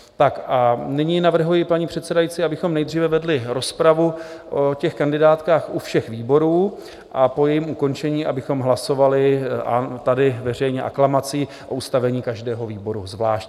Tak a nyní navrhuji, paní předsedající, abychom nejdříve vedli rozpravu o těch kandidátkách u všech výborů a po jejím ukončení, abychom hlasovali tady veřejně, aklamací o ustavení každého výboru zvlášť.